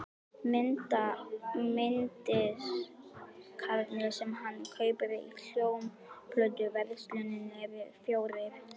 Mynddiskarnir sem hann kaupir í hljómplötuversluninni eru fjórir.